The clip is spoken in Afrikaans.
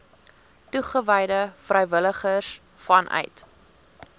toegewyde vrywilligers vanuit